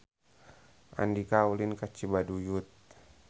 Andika ulin ka Cibaduyut